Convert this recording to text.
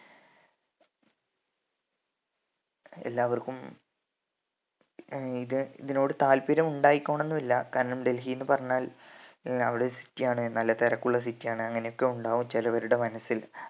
എല്ലാവർക്കും ഏർ ഇത് ഇതിനോട് താൽപ്പര്യം ഉണ്ടായിക്കോണംന്നു ഇല്ലാ കാരണം ഡൽഹി ന്ന് പറഞ്ഞാൽ ഏർ അവിടെ city ആണ് നല്ല തിരക്കുള്ള city ആണ് അങ്ങനെ ഒക്കെ ഉണ്ടാവും ചെലവരുടെ മനസ്സിൽ